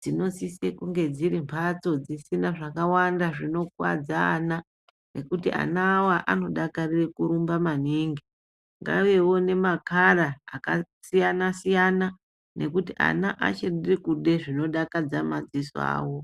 dzinosise kunge dziri mphatso dzisina zvakàwanda zvinokuwadza ana ngokuti ana awa anodakarira kurumba maningi. Ngaivewo nemakala akasiyana siyana ngekuti ana anode zvinodakadza madziso awo.